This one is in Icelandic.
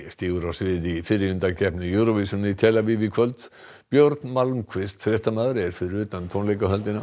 stígur á svið í fyrri undankeppni Eurovision í tel Aviv í kvöld björn fréttamaður er fyrir utan tónleikahöllina